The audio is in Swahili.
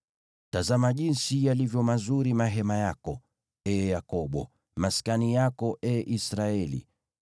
“Tazama jinsi yalivyo mazuri mahema yako, ee Yakobo, maskani yako, ee Israeli!